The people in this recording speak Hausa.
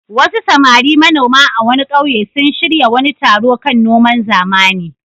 Wasu samari manoma a wani ƙauye sun shirya wani taro kan noman zamani.